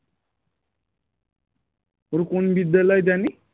ওর কোন বিদ্যালয় জানি